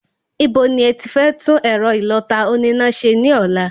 Ibo ni ẹti fẹ́ tún ẹ̀rọ ìlọta oníná ṣe ní ọ̀la?